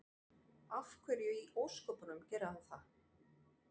Af hverju í ósköpunum gerði hann það?